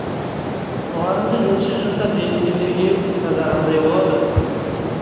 мұғалімді жөнсіз жұмсап желіккендерге жаза қандай болады